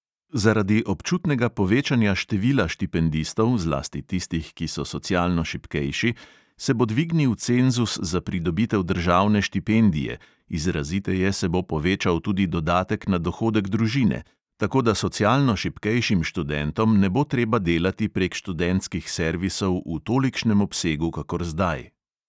Zaradi občutnega povečanja števila štipendistov, zlasti tistih, ki so socialno šibkejši, se bo dvignil cenzus za pridobitev državne štipendije, izraziteje se bo povečal tudi dodatek na dohodek družine, tako da socialno šibkejšim študentom ne bo treba delati prek študentskih servisov v tolikšnem obsegu kakor zdaj.